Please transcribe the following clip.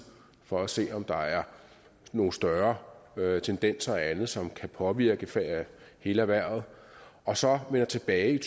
for at se om der er nogle større tendenser og andet som kan påvirke hele erhvervet og så melder tilbage i